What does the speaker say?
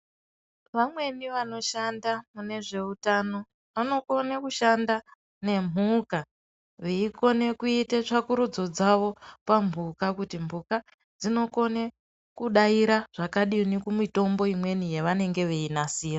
Vamweni vanoshanda munezveutano vanokone kushanda nemhuka veikone kuite tsvakurudzo dzavo pa mbuka kuti mbuka dzinokone kudaira zvakadini kumitombo imweni yavanenge veinasira.